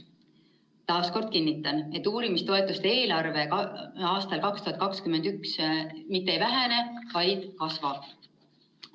" Taas kord kinnitan, et uurimistoetuste eelarve aastal 2021 mitte ei vähene, vaid kasvab.